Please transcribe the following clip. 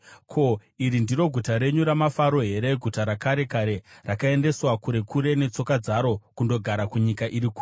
Ko, iri ndiro guta renyu ramafaro here, guta rakare kare, rakaendeswa kure kure netsoka dzaro kundogara kunyika iri kure?